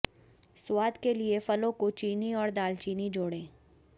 स्वाद के लिए फलों को चीनी और दालचीनी जोड़ें